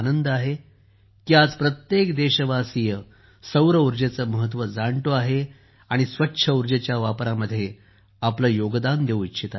मला आनंद आहे की आज प्रत्येक देशवासीय सौरऊर्जेचे महत्त्व जाणतो आहे आणि स्वच्छ ऊर्जेच्या वापरामध्ये आपले योगदान देत आहे